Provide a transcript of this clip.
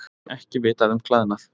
Ekki vitað um klæðnað